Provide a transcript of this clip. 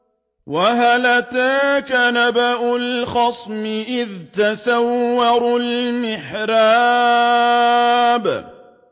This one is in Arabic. ۞ وَهَلْ أَتَاكَ نَبَأُ الْخَصْمِ إِذْ تَسَوَّرُوا الْمِحْرَابَ